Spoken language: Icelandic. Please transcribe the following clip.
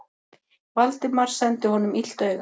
Valdimar sendi honum illt auga.